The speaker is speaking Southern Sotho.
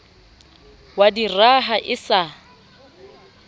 wa di raha e sa